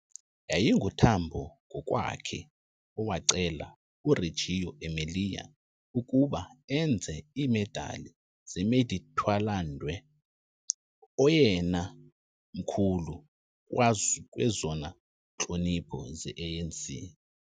YayinguTambo ngokwakhe owacela uReggio Emilia ukuba enze iimedali zeMeditwalandwe, oyena mkhulu kwezona ntlonipho ze-ANC